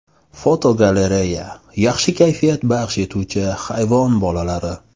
Fotogalereya: Yaxshi kayfiyat baxsh etuvchi hayvon bolalari.